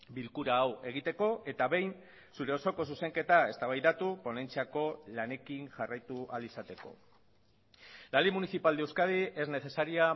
bilkura hau egiteko eta behin zure osoko zuzenketa eztabaidatu ponentziako lanekin jarraitu ahal izateko la ley municipal de euskadi es necesaria